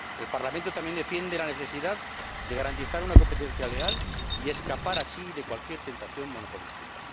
El Parlamento también defiende la necesidad de garantizar una competencia leal y escapar así a cualquier tentación monopolística.